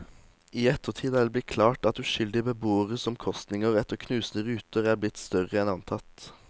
I ettertid er det blitt klart at uskyldige beboeres omkostninger etter knuste ruter er blitt større enn antatt.